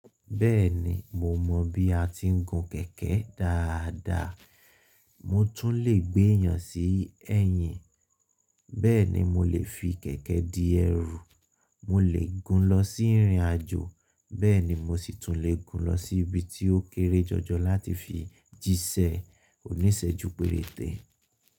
Bẹ́ẹ̀ni mo mọ̀ bí a ti ń gun kẹ̀kẹ́ dáadáa. Mo tún lè gbéyàn sí ẹ̀yìn, bẹ́ẹ̀ ni mo lè fi kẹ̀kẹ́ di ẹrùù. Mo lè gun lọ sí ìrìnàjò, bẹ́ẹ̀ ni mo sì tún lè gun lọ sí ibi tí ó kéré jọjọ lati fi jíṣẹ́ oníṣẹ́jú péréte.